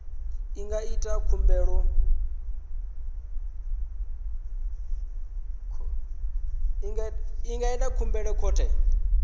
a nga ita khumbelo khothe